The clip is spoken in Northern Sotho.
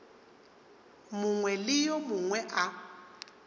mongwe le yo mongwe a